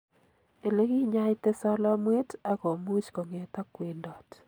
Elekinyaita solomwet akomuch konget ak kwendot.